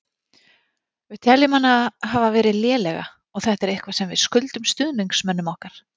Við teljum hana hafa verið lélega og þetta er eitthvað sem við skuldum stuðningsmönnum okkar.